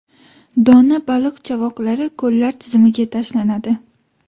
dona baliq chavoqlari ko‘llar tizimiga tashlanadi.